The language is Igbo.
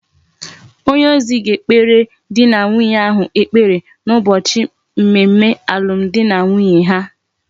Onye ozi ga ekpere di na nwunye ahu ekpere na ubochi mmemme alum di na nwunye ha